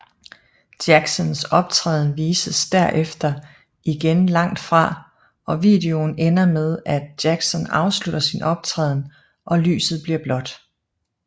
Jacksons optræden vises derefter igen langt fra og videon ender med at Jackson afslutter sin optræden og lyset bliver blåt